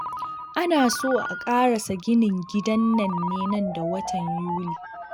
Ana so a ƙarasa ginin gidan nan ne nan da watan Yuli